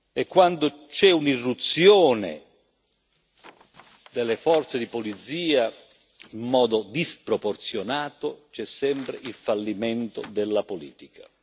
E quando c'è un'irruzione delle forze di polizia in modo sproporzionato, c'è sempre il fallimento della politica.